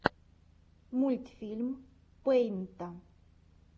мультфильм пэйнта